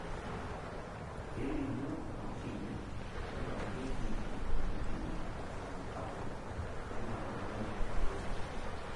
kelimu emashini naingurarieki imoyiaritin irbulabol lena moyian e produce